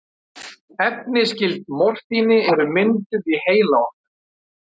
Efni skyld morfíni eru mynduð í heila okkar.